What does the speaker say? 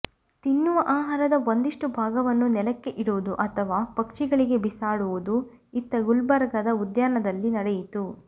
ತಿನ್ನುವ ಆಹಾರದ ಒಂದಿಷ್ಟು ಭಾಗವನ್ನು ನೆಲಕ್ಕೆ ಇಡುವುದು ಅಥವಾ ಪಕ್ಷಿಗಳಿಗೆ ಬಿಸಾಡುವುದು ಇತ್ತ ಗುಲ್ಬರ್ಗದ ಉದ್ಯಾನದಲ್ಲಿ ನಡೆಯಿತು